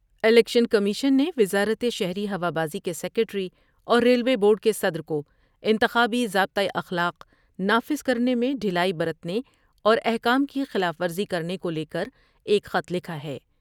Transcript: Election commission نے وزارت شہری ہوابازی کے سکریٹری اور ریلوے بورڈ کے صدر کو انتخابی ضابطہ اخلاق نافذ کرنے میں ڈھیلائی برتنے اور احکام کی خلاف ورزی کرنے کو لے کر ایک خط لکھا ہے ۔